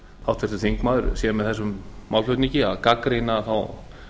háttvirtur þingmaður sé með þessum málflutningi að gagnrýna þá